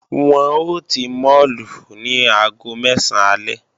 Wọ́n ó ti máàlù ní aago mẹ́sán alẹ́